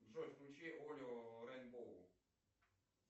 джой включи олео рейнбоу